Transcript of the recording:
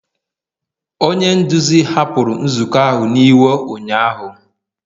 onye nduzi hapụrụ nzukọ ahụ n'iwe ụnyahụ